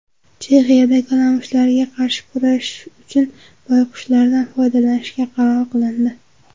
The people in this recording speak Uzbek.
Chexiyada kalamushlarga qarshi kurashish uchun boyqushlardan foydalanishga qaror qilindi.